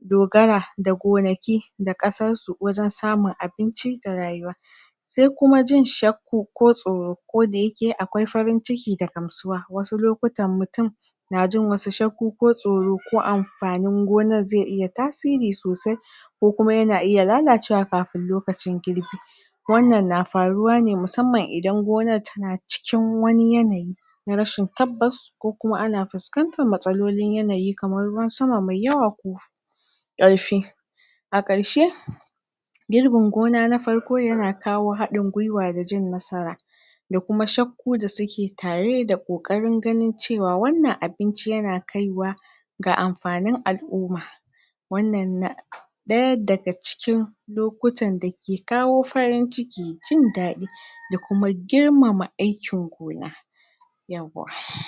dogara da gonaki da ƙasarsu wajen samun abinci da rayuwa sai kuma jin shakku ko tsoro ko da yake akwai farin ciki da gamsuwa wasu lokutan mutum na jin wasu shakku ko tsoro ko amfanin gonar zai iya tasiri sosai ko kuma yana iya lala cewa kafin lokacin girbi wannan na faruwa ne musamman idan gonar tana cikin wani yanayi na rashin tabbas ko kuma ana fuskantar matsalolin yanayi kamar ruwan sama mai yawa ko ƙarfi ƙarshe girbin gona na farko ya na kawo haɗin gwiwa da jin nasara da kuma shakku da suke tare da ƙoƙarin ganin ce wa wannan abinci ya na kai wa ga amfanin al'umma wannan na daya da ga cikin lokutan da ke kawo farin ciki jin dadi da kuma girmama aikin gona yawwa he